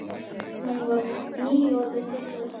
Hún var nýorðin þriggja ára.